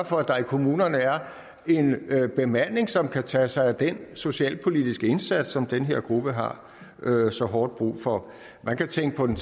for at der i kommunerne er en bemanding som kan tage sig af den socialpolitiske indsats som den her gruppe har så hårdt brug for man kan tænke på den